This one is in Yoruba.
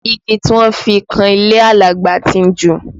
Igi tí wọ́n fi kan ilé Alagba tí ń ju